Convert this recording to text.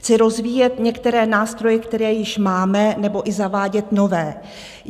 Chci rozvíjet některé nástroje, které již máme, nebo i zavádět nové.